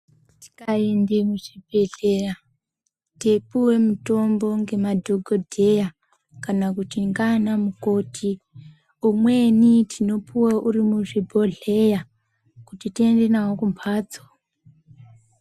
Tikaende muzvibhedhlera teipuwe mitombo ngemadhokodheya kana kuti ngiana mukoti umweni tinopuwe uri muzvibhodhleya kuti tiende nawo kumbatso.